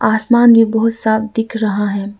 आसमान भी बहुत साफ दिख रहा है।